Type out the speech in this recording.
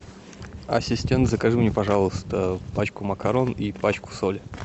ассистент закажи мне пожалуйста пачку макарон и пачку соли